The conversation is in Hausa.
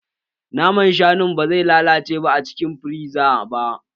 Naman shanun ba zai lalace ba a cikin firiza ba